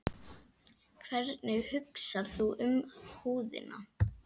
Hvernig hugsar þú um húðina?